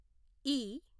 ఈ